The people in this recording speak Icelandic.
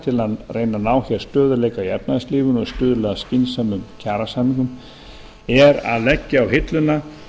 að ná hér stöðugleika í efnahagslífinu og stuðla að skynsömum kjarasamningum það er að leggja á hilluna